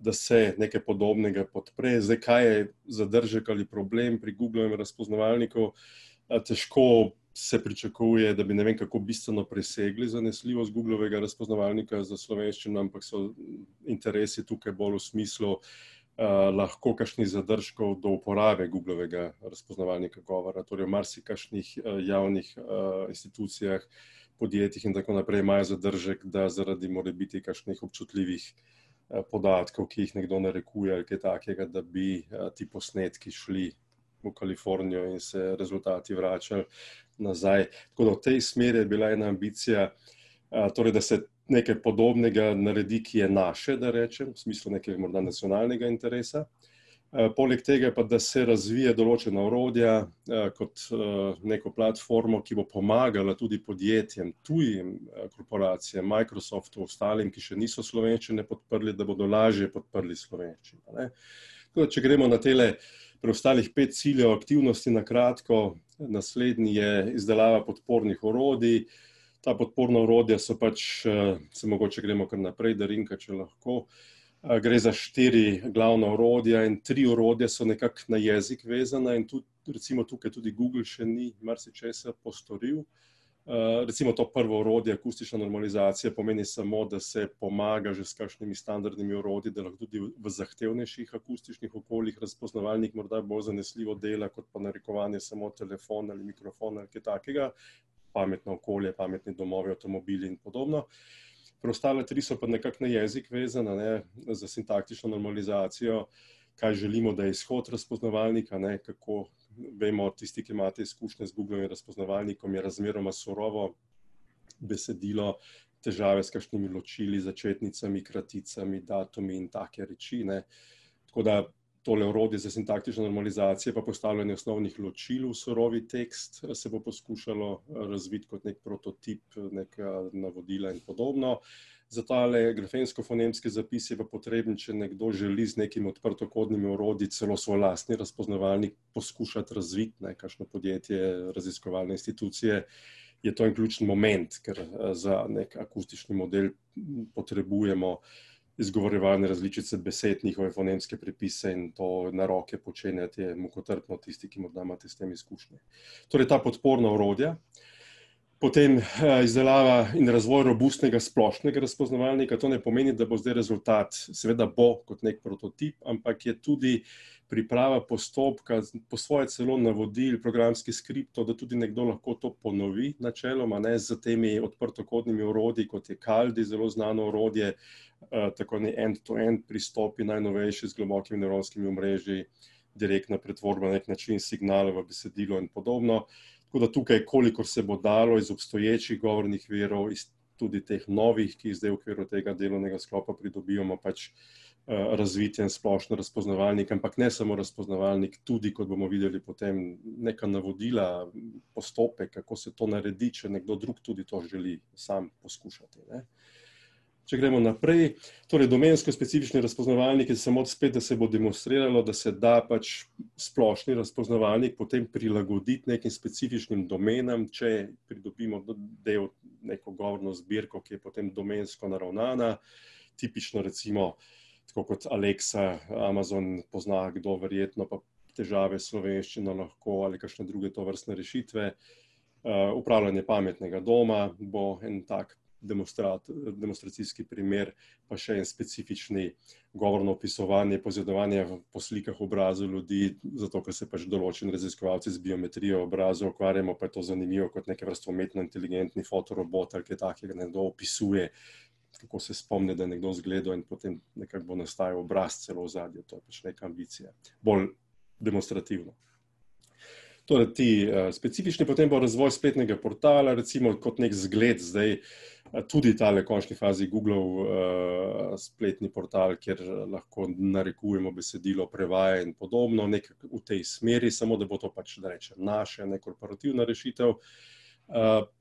da se nekaj podobnega podpre. Zdaj, kaj je zadržek ali problem pri Googlovem razpoznavalniku ... Težko se pričakuje, da bi ne vem kako bistveno presegli zanesljivost Googlovega razpoznavalnika za slovenščino, ampak so interesi tukaj bolj v smislu, lahko kakšnih zadržkov do uporabe Googlovega razpoznavalnika govora, torej v marsikakšnih javnih, institucijah, podjetjih in tako naprej, imajo zadržek, da zaradi morebiti kakšnih občutljivih, podatkov, ki jih nekdo narekuje ali kaj takega, da bi, ti posnetki šli v Kalifornijo in se rezultati vračali nazaj. Tako da v tej smeri je bila ena ambicija, torej da se nekaj podobnega naredi, ki je naše, da rečem, v smislu nekega morda nacionalnega interesa. poleg tega pa, da se razvije določena orodja, kot, neko platformo, ki bo pomagala tudi podjetjem, tujim, korporacijam, Microsoft, ostalim, ki še niso slovenščine podprli, da bodo lažje podprli slovenščino, a ne. Tako da če gremo na tele preostalih pet ciljev aktivnosti na kratko. Naslednji je izdelava podpornih orodij. Ta podporna orodja so pač, saj mogoče gremo kar naprej, Darinka, če lahko. gre za štiri glavna orodja in tri orodja so nekako na jezik vezana in tudi recimo tukaj tudi Google še ni marsičesa postoril ... recimo to prvo orodje, akustična normalizacija pomeni samo, da se pomaga že s kakšnimi standardnimi orodji, da lahko tudi v zahtevnejših akustičnih okoljih razpoznavalnik morda bolj zanesljivo dela kot pa narekovanje samo telefon ali mikrofon ali kaj takega, pametno okolje, pametni domovi, avtomobili in podobno. Preostala tri so pa nekako na jezik vezana, a ne, za sintaktično normalizacijo, kaj želimo, da je izhod razpoznavalnika, ne, kako ... Vemo, tisti, ki imate izkušnje z Googlovim razpoznavalnikom, je razmeroma surovo, besedilo, težave s kakšnimi ločili, začetnicami, kraticami, datumi in take reči, ne. Tako da tole orodje za sintaktično normalizacijo pa postavljanje osnovnih ločil v surovi tekst se bo poskušalo razviti kot neki prototip, neka navodila in podobno. Za tale grafemsko-fonemski zapis je pa potreben, če nekdo želi z nekim odprtokodnimi orodji celo svoj lastni razpoznavalnik poskušati razviti, ne, kakšno podjetje, raziskovalne institucije, je to en ključni moment, ker za neki akustični model potrebujemo izgovarjane različice besed, njihove fonemske pripise in to na roke počenjati je mukotrpno, tisti, ki morda imate s tem izkušnje. Torej ta podporna orodja, potem izdelava in razvoj robustnega splošnega razpoznavalnika - to ne pomeni, da bo zdaj rezultat, seveda bo kot neki prototip, ampak je tudi priprava postopka, po svoje celo navodil, programski skript, da tudi nekdo lahko to ponovi načeloma, ne, s temi odprtokodnimi orodji, kot je Kaldi, zelo znano orodje, tako ne en, torej en pristop najnovejši z globokimi nevronskimi omrežji, direktna pretvorba na neki način, signal v besedilu in podobno. Tako da tukaj, kolikor se bo dalo iz obstoječih govornih virov, iz tudi teh novih, ki jih zdaj v okviru tega delovnega sklopa pridobivamo, pač, razviti en splošen razpoznavalnik, ampak ne samo razpoznavalnik, tudi, kot bomo videli potem, neka navodila, postopek, kako se to naredi, če nekdo drug tudi to želi sam poskušati, ne. Če gremo naprej, torej domensko specifični razpoznavalniki samo spet, da se bo demonstriralo, da se da pač splošni razpoznavalnik potem prilagoditi nekim specifičnim domenam, če pridobimo del, neko govorno zbirko, ki je potem domensko naravnana. Tipično recimo tako kot Alexa, Amazon, pozna kdo verjetno, pa težave s slovenščino lahko ali kakšne druge tovrstne rešitve. upravljanje pametnega doma bo en tak demonstracijski primer, pa še en specifični - govorno opisovanje, poizvedovanje v, po slikah obrazov ljudi, zato ker se pač določeni raziskovalci z geometrijo obrazov ukvarjamo, pa je to zanimivo kot neke vrste umetnointeligentni fotorobot ali kaj takega, nekdo opisuje, kako se spomni, da je nekdo izgledal, in potem nekako bo nastajal obraz celo v ozadju, to je pač neka ambicija. Bolj demonstrativno. Torej ti, specifični, potem bo razvoj spletnega portala, recimo kot neki zgled zdaj tudi tale, v končni fazi, Googlov, spletni portal, kjer lahko narekujemo besedilo, prevaja in podobno, nekaj v tej smeri, samo da bo to pač, da rečem, naše, ne korporativna rešitev,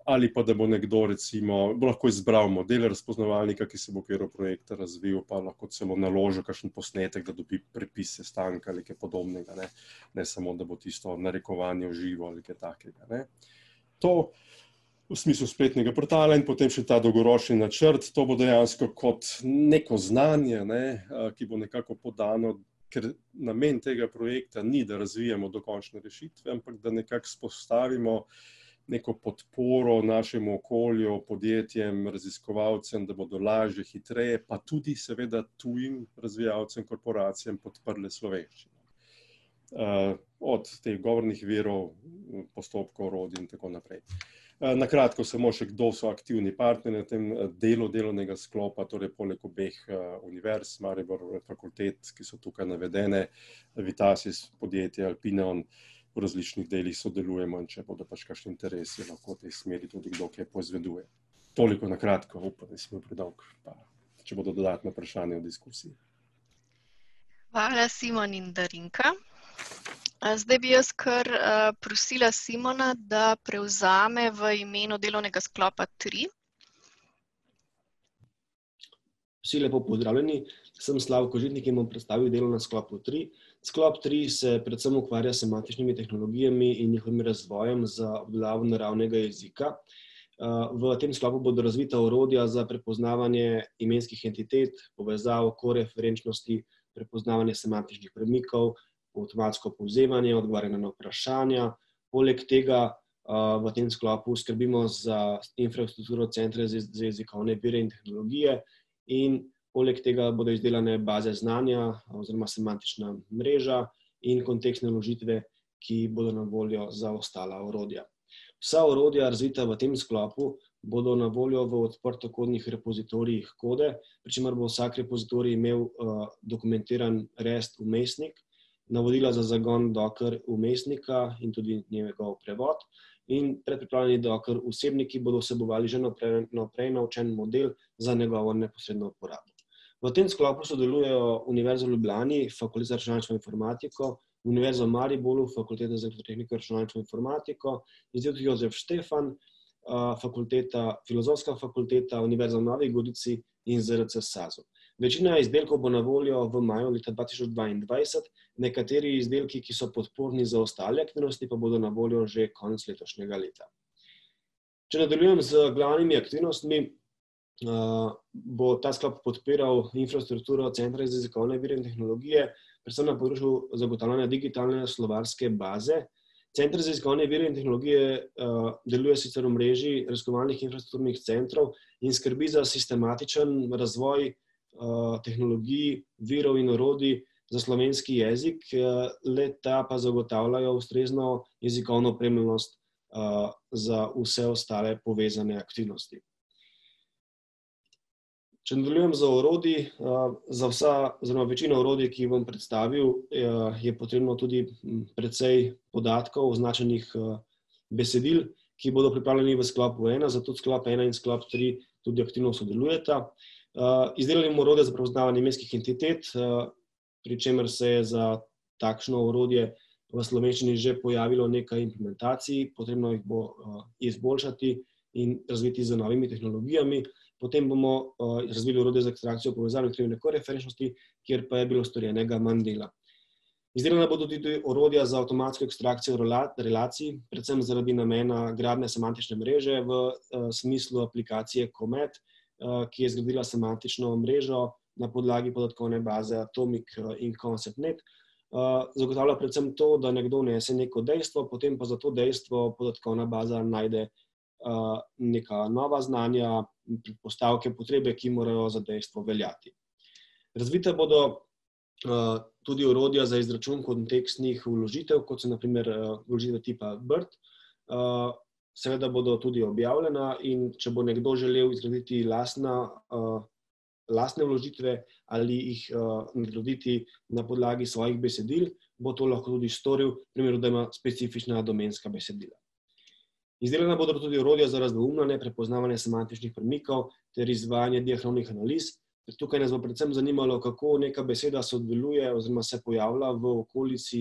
ali pa da bo nekdo recimo lahko izbral model razpoznavalnika, ki se bo v okviru projekta razvil, pa lahko celo naložil kakšen posnetek, da dobi prepis sestanka ali kaj podobnega, ne, ne samo, da bo tisto narekovanje v živo ali kaj takega, ne. To, v smislu spletnega portala in potem še ta dolgoročni načrt, to bo dejansko kot neko znanje, ne, ki bo nekako podano ker namen tega projekta ni, da razvijamo dokončne rešitve, ampak, da nekako vzpostavimo neko podporo našemu okolju, podjetjem, raziskovalcem, da bodo lažje, hitreje, pa tudi seveda tujim razvijalcem, korporacijam, podprle slovenščino. od teh govornih virov, postopkov, orodij in tako naprej. Na kratko samo še, kdo so aktivni partnerji na tem delu delovnega sklopa, torej poleg obeh, univerz, Maribor, fakultet, ki so tukaj navedene, Vitasis podjetje, Alpineon, v različnih delih sodelujemo, in če bodo pač kakšni interesi lahko v tej smeri tudi kdo kaj poizveduje. Toliko na kratko, upam, da nisem bil predolg, če bodo dodatna vprašanja v diskusiji. Hvala, Simon in Darinka. Zdaj bi jaz kar prosila Simona, da prevzame v imenu delovnega sklopa tri. Vsi lepo pozdravljeni, sem Slavko Žitnik in bom predstavil v delovnem sklopu tri. Sklop tri se predvsem ukvarja s semantičnimi tehnologijami in njihovimi razvojem za naravnega jezika. v tem sklopu bodo razvita orodja za prepoznavanje imenskih identitet, povezav, koreferenčnosti, prepoznavanje semantičnih premikov, avtomatsko povzemanje, odgovarjanje na vprašanja, polega tega, v tem sklopu skrbimo za infrastrukturo Centra za jezikovne vire in tehnologije in poleg tega bodo izdelane baze znanja oziroma semantična mreža in kontekstne vložitve, ki bodo na voljo za ostala orodja. Vsa orodja, razvita v tem sklopu, bodo na voljo v odprtokodnih repozitorijih kode, pri čemer bo vsak repozitorij imel dokumentiran rest vmesnik, navodila za zagon docker vmesnika in tudi njegov prevod in predpripravljeni docker vsebniki bodo vsebovali že vnaprej naučen model za njegovo neposredno uporabo. V tem sklopu sodelujejo Univerza v Ljubljani, Fakulteta za računalništvo in matematiko, Univerza v Mariboru, Fakulteta za elektrotehniko, računalništvo in informatiko, Inštitut Jožef Stefan, fakulteta, Filozofska fakulteta, Univerza v Novi Gorici in ZRC SAZU. Večina izdelkov bo na voljo v maju leta dva tisoč dvaindvajset, nekateri izdelki, ki so podporni za ostale aktivnosti, pa bodo na voljo že konec letošnjega leta. Če nadaljujem z glavnimi aktivnostmi, bo ta sklop podpiral infrastrukturo Centra za jezikovne vire in tehnologije, predvsem na področju zagotavljanja digitalne slovarske baze. Center za jezikovne vire in tehnologije, deluje sicer v mreži raziskovalnih infrastrukturnih centrov in skrbi za sistematičen razvoj, tehnologij, virov in orodij za slovenski jezik, le-ta pa zagotavljajo ustrezno jezikovno opremljenost, za vse ostale povezane aktivnosti. Če nadaljujem z orodji, za vsa oziroma večino orodij, ki jih bom predstavil, je potrebno tudi precej podatkov označenih, besedil, ki bodo pripravljeni v sklopu ena, zato tudi sklop ena in tri aktivno sodelujeta. izdelali bomo orodja za prepoznavanje imenskih identitet, pri čemer se je za takšno orodje v slovenščini že pojavilo nekaj implementacij, potrebno jih bo, izboljšati in razviti z novimi tehnologijami. Potem bomo, razvili orodje za ekstrakcijo povezave aktivne koreferenčnosti, kjer pa je bilo storjenega manj dela. Izdelana bodo tudi orodja za avtomatsko ekstrakcijo relacij, predvsem zaradi namena gradnje semantične mreže v smislu aplikacije Comet, ki je zgradila semantično mrežo na podlagi podatkovne baze Atomic in ConceptNet. zagotavlja predvsem to, da nekdo vnese neko dejstvo, potem pa za to dejstvo podatkovna baza najde, neka nova znanja, predpostavke, potrebe, ki morajo za dejstvo veljati. Razvita bodo, tudi orodja za izračun kontekstnih vložitev, kot so na primer, vložitev tipa bird, seveda bodo tudi objavljena, in če bo nekdo želel zgraditi lastna, lastne vložitve ali jih, nadgraditi na podlagi svojih besedil, bo to lahko tudi storil, v primeru, da ima specifična domenska besedila. Izdelana bodo pa tudi orodja za razdvoumnjenje, za prepoznavanje semantičnih premikov ter izvajanje diahronih analiz. Tukaj nas bo predvsem zanimalo, kako neka beseda sodeluje oziroma se pojavlja v okolici,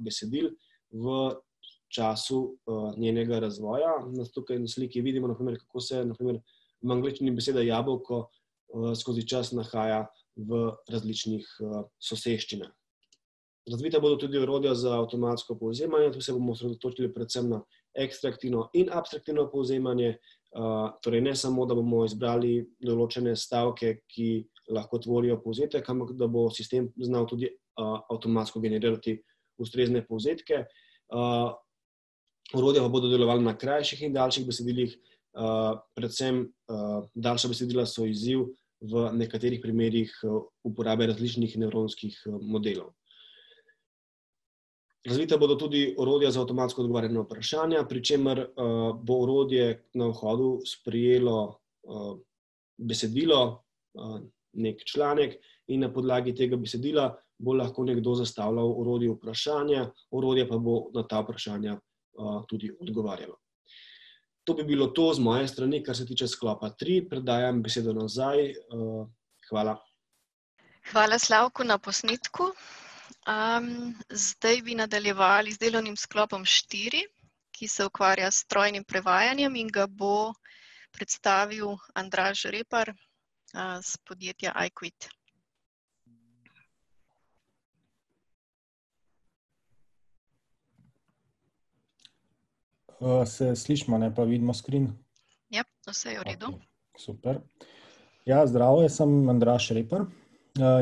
besedil v času, njenega razvoja. Tukaj na sliki vidimo, na primer, kako se, na primer, v angleščini beseda jabolko, skozi čas nahaja v različnih, soseščinah. Razvita bodo tudi orodja za avtomatsko povzemanje, tu se bomo osredotočali predvsem na ekstraktivno in abstraktivno povzemanje, torej ne samo, da bomo izbrali določene stavke, ki lahko tvorijo povzetek, ampak da bo sistem znal tudi, avtomatsko generirati ustrezne povzetke, orodja pa bodo delovala na krajših in daljših besedilih, predvsem, daljša besedila so izziv v nekaterih primerih uporabe različnih nevronskih modelov. Razvita bodo tudi orodja za avtomatsko odgovarjanje na vprašanja, pri čemer, bo orodje na vhodu sprejelo besedilo, neki članek in na podlagi tega besedila bo lahko nekdo zastavljal orodju vprašanja, orodje pa bo na ta vprašanja, tudi odgovarjalo. To bi bilo to z moje strani, kar se tiče sklopa tri, predajam besedo nazaj, hvala. Hvala, Slavko, na posnetku. zdaj bi nadaljevali z delovnim sklopom štiri, ki se ukvarja s strojnim prevajanjem in ga bo predstavil Andraž Repar, iz podjetja Aikwit. se slišimo, ne, pa vidimo screen? Ja, vse je v redu. Okej, super. Ja, zdravo, jaz sem Andraž Repar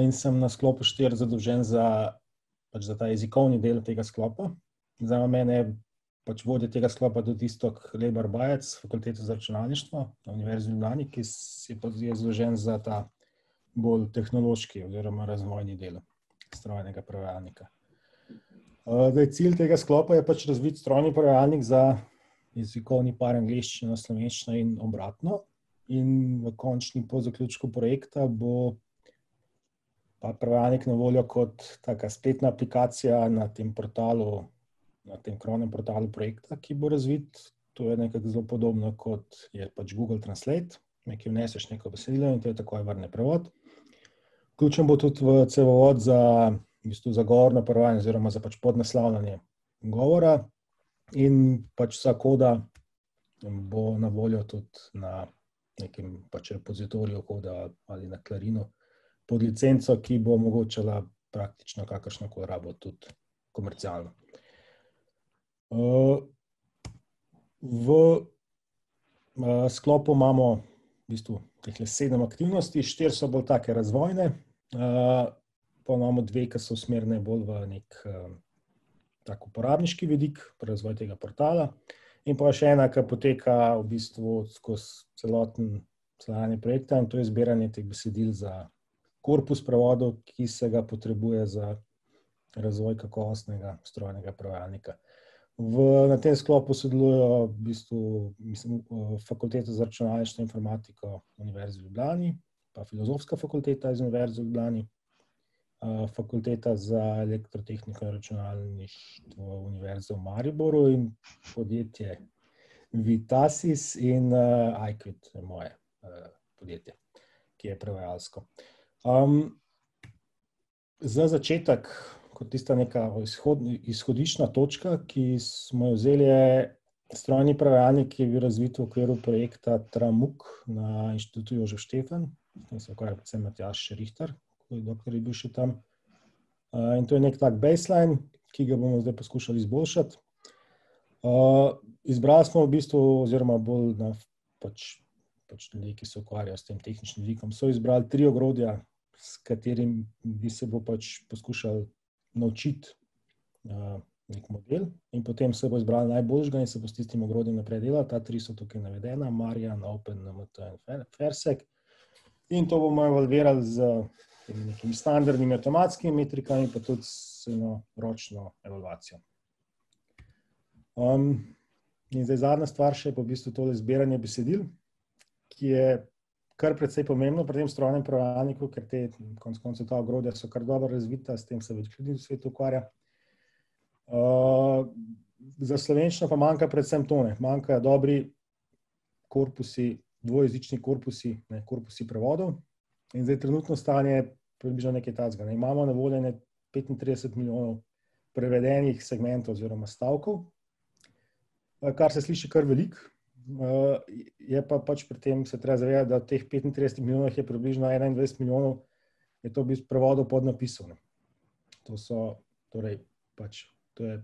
in sem na sklopu štiri zadolžen za pač za ta jezikovni del tega sklopa. Zraven mene je pač vodja tega sklopa tudi Iztok Lebar Bajec, Fakulteta za računalništvo Univerze v Ljubljani, ki pač je bolj zadolžen za ta bolj tehnološki oziroma razvojni del strojnega prevajalnika. zdaj cilj tega sklopa je pač razviti strojni prevajalnik za jezikovni par angleščina-slovenščina in obratno in v končni po zaključku projekta bo ta prevajalnik na voljo kot taka spletna aplikacija na tem portalu na tem krovnem portalu projekta, ki bo razvit. To je nekako zelo podobno, kot je pač Google translate, nekaj vneseš, neko besedilo in ti takoj vrne prevod. Vključen bo tudi v cevovod za v bistvu za govorno prevajanje oziroma za pač podnaslavljanje govora in pač vsa koda bo na voljo tudi na nekem pač repozitoriju koda ali na Clarinu pod licenco, ki bo omogočala praktično kakršno koli rabo, tudi komercialno. v sklopu imamo v bistvu tehle sedem aktivnosti, štiri so bolj take razvojne, pol imamo dve, ke so usmerjene bolj v neki, uporabniški vidik, pri razvoju tega portala in pol še ena, ke poteka v bistvu skozi celotno trajanje projekta in to je zbiranje teh besedil za korpus prevodov, ki se ga potrebuje za razvoj kakovostnega strojnega prevajalnika. V, na tem sklopu sodelujejo v bistvu, mislim, Fakulteta za računalništvo in informatiko Univerze v Ljubljani pa Filozofska fakulteta iz Univerze v Ljubljani, Fakulteta za elektrotehniko in računalništvo Univerze v Mariboru in podjetje Vitasis in, Aikwit je moje, podjetje, ki je prevajalsko. za začetek, kot tista neka, izhodna, izhodiščna točka, mi smo jo vzeli, je strojni prevajalnik, ki je bil razvit v okviru projekta Tramuk na Inštitutu Jožef Stefan, s tem se je ukvarjal predvsem Matjaž Rihtar, dokler je bil še tam. in to je neki base line, ki ga bomo zdaj poskušali izboljšati. izbrali smo v bistvu, oziroma bolj pač, pač ljudje, ki se ukvarjajo s tem tehničnim vidikom, so izbrali tri ogrodja, s katerimi se bomo pač poskušal naučiti, neki model in potem se bo izbralo najboljšega in se bo s tistim ogrodjem naprej delalo; ta tri so tukaj navedena - in to bomo evalvirali z nekim standardnim avtomatskim pa tudi z eno ročno evalvacijo. in zdaj zadnja stvar še pa v bistvu tole zbiranje besedil, ki je kar precej pomembno pri tem strojnem prevajalniku, ker te, konec koncev so ta orodja kar dobro razvita, s tem se več ljudi na svetu ukvarja, za slovenščino pa manjka predvsem to, ne, manjkajo dobri korpusi, dvojezični korpusi, ne, korpusi prevodov. In zdaj trenutno stanje je približno nekaj takega, ne, imamo na voljo ene petintrideset milijonov prevedenih segmentov oziroma stavkov, kar se sliši kar veliko, je pa pač pri tem se treba zavedati, da v teh petintridesetih milijonov, jih je približno enaindvajset milijonov je to v bistvu prevodov podnapisov, ne. To so, torej, pač, to je